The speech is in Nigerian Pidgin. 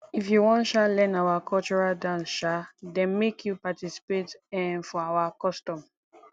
if you wan um learn our cultural dance um dem make you participate um for our custom